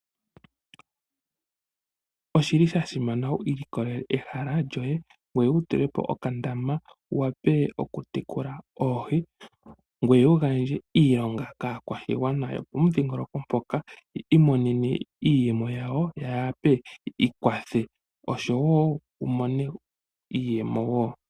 Oshi li sha simana wu ilikolele ehala lyoye ngweye wu tulepo okandama wu wape okutekula oohi, ngweye wu gandje iilonga kaakwashigwana yopomudhingoloko mpoka ya mone iiyemo yawo ya wape ya ikwathe osho wo wu mone iiyemo wo.